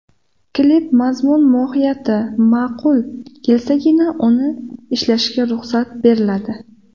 Klip mazmun mohiyati ma’qul kelsagina uni ishlashga ruxsat beriladi.